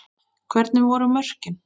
Hvernig voru mörkin?